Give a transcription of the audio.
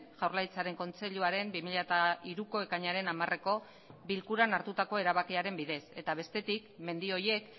jaurlaritzaren kontseiluaren bi mila hiruko ekainaren hamareko bilkuran hartutako erabakiaren bidez eta bestetik mendi horiek